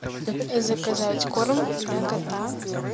заказать корм для кота